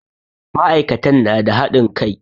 Ma'aikatan na da haɗin kai.